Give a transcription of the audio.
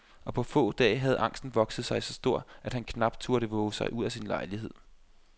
Og på få dage havde angsten vokset sig så stor, at han knap turde vove sig ud af sin lejlighed.